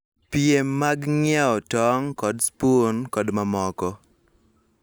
Piem mag ng�iewo tong� kod spun, kod mamoko.